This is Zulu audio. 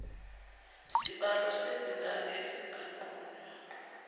sibalo sezingane esinganqunywa